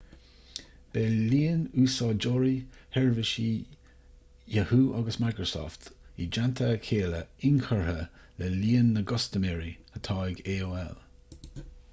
beidh líon úsáideoirí sheirbhísí yahoo agus microsoft i dteannta a chéile inchurtha le líon na gcustaiméirí atá ag aol